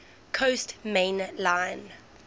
coast main line